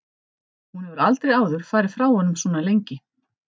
Hún hefur aldrei áður farið frá honum svona lengi.